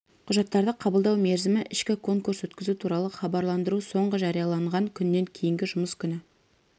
құжаттарды қабылдау мерзімі ішкі конкурс өткізу туралы хабарландыру соңғы жарияланған күннен кейінгі жұмыс күні